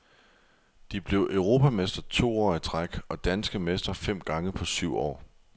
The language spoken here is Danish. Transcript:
De blev europamestre to år i træk og danske mestre fem gange på syv år.